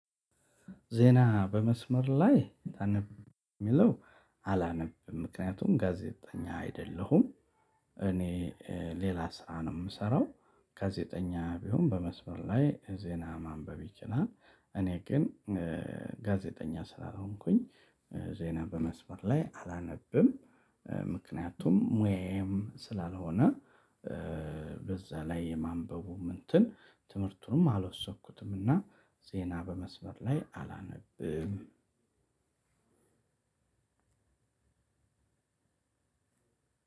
ዜና በመስመር ላይ ታነብ የሚለው አላነብም ምክንያቱም ጋዜጠኛ አይደለሁም። እኔ ሌላ ስራ ነው ምሰራው ጋዜጠኛ ቢሆን በመስመር ላይ ዜና ማንበብ ይችላል። እኔ ግን ጋዜጠኛ ስላልሆንኩኝ ዜና በመስመር ላይ አላነብም። ምክንያቱም ሙያዬም ስላልሆነ በዛ ላይ የማንበቡም እንትን ትምህርቱንም አልወሰድኩትምና። ዜና በመስበር ላይ አላነብም